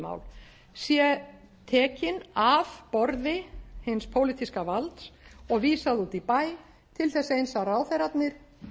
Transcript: mál sé tekin af borði hins pólitíska valds og vísað út í bæ til þess eins að ráðherrarnir